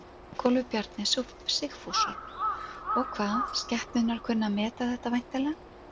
Ingólfur Bjarni Sigfússon: Og hvað, skepnurnar kunna að meta þetta væntanlega?